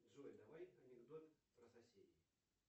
джой давай анекдот про соседей